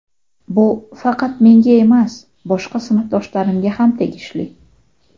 Bu faqat menga emas, boshqa sinfdoshlarimga ham tegishli.